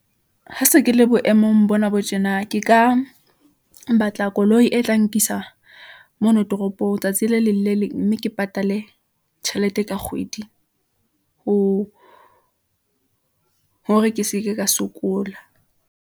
Ha se ke le boemong bona bo tjena, ke ka batla koloi e tla nkisa mono toropong tsatsi le leng le le mme ke patale tjhelete ka kgwedi, ho hore ke seke ka sokola.